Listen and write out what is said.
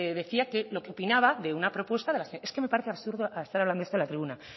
decía lo que opinaba de una propuesta de es que me parece absurdo esta hablando de esto en la tribuna